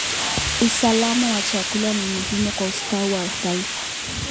Usalama wa chakula ni muhimu kwa ustawi wa taifa.